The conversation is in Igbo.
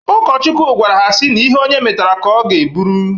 Ụkọchukwu gwara ha sị na ihe onye metara ka ọ ga-eburu